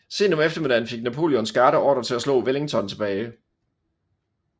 Sent om eftermiddagen fik Napoleons garde ordre til at slå Wellington tilbage